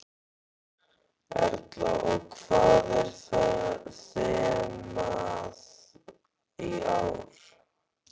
Erla: Og hvað er þemað í ár?